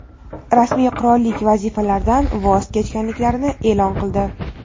rasmiy qirollik vazifalaridan voz kechganliklarini e’lon qildi.